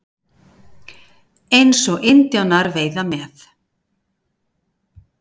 Eins og indjánar veiða með.